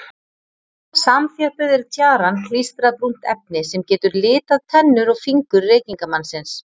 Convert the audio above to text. Samþjöppuð er tjaran klístrað brúnt efni sem getur litað tennur og fingur reykingamannsins.